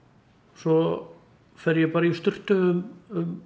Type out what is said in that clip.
svo fer ég bara í sturtu um